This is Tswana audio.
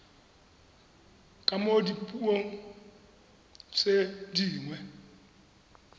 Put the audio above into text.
ka mo dipuong tse dingwe